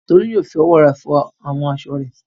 Tolú yóò fi ọwọ́ rẹ̀ fọ àwọn aṣọ rẹ̀.